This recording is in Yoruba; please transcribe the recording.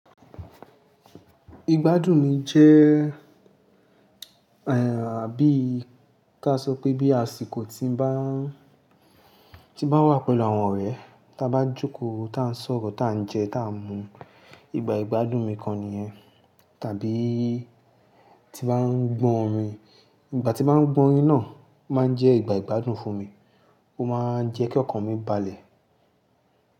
Igbádùn mi jẹ́, àbí kí a sọ pé bí àsìkò tí ń bá, tí bá wà pẹ̀lú àwọn ọ̀rẹ́, tí a bá jókòó, tí à ń sọ̀rọ̀, tí à ń jẹ, tí à ń mu. Ìgbà ìgbádùn mi kan nìyẹn. Tàbí tí bá ń gbọ́ orin, ìgbà tí bá ń gbọ́ orin náà máa ń jẹ́ ìgbà ìgbádùn fún mi, ó máa ń jẹ́ kí ọkàn mi balẹ̀.